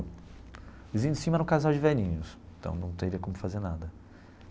O vizinho de cima era um casal de velhinhos, então não teria como fazer nada.